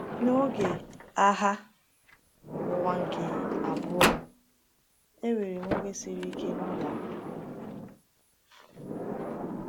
N’oge Agha Ụwa nke Abụọ, enwere m oge siri ike n’ụlọ akwụkwọ.